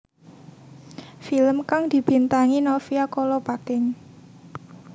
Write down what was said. Film kang dibintangi Novia Kolopaking